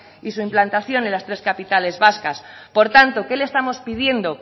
y su implantación en las tres capitales vascas por tanto qué le estamos pidiendo